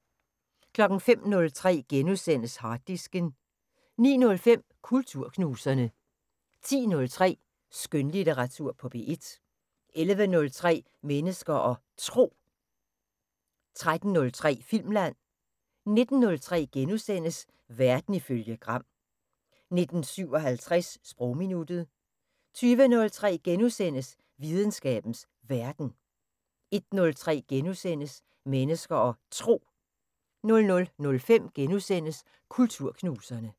05:03: Harddisken * 09:05: Kulturknuserne 10:03: Skønlitteratur på P1 11:03: Mennesker og Tro 13:03: Filmland 19:03: Verden ifølge Gram * 19:57: Sprogminuttet 20:03: Videnskabens Verden * 21:03: Mennesker og Tro * 00:05: Kulturknuserne *